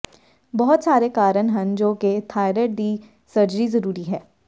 ਬਹੁਤ ਸਾਰੇ ਕਾਰਨ ਹਨ ਜੋ ਕਿ ਥਾਈਰੋਇਡ ਦੀ ਸਰਜਰੀ ਜ਼ਰੂਰੀ ਹੈ